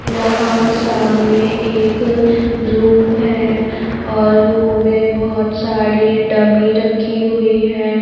यहां सामने एक रूम है और रूम में बहुत सारी डमी रखी हुई है.